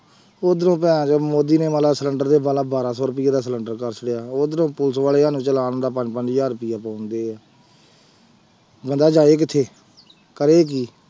ਉਧਰੋਂ ਭੈਣ ਚੋਦ ਮੋਦੀ ਨੇ ਸਿਲੈਂਡਰ ਦੇ ਵਾਲਾ ਬਾਰਾਂ ਸੌ ਰੁੁਪਏ ਦਾ ਸਿਲੈਂਡਰ ਕਰ ਲਿਆ, ਉਧਰੋਂ ਪੁਲਿਸ ਵਾਲੇ ਸਾਨੂੰ ਚਲਾਣ ਦਾ ਪੰਜ ਪੰਜ ਹਜ਼ਾਰ ਰੁਪਇਆ ਪਾਉਂਦੇ ਆ ਬੰਦਾ ਜਾਏ ਕਿੱਥੇ, ਕਰੇ ਕੀ।